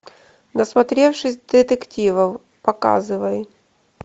насмотревшись детективов показывай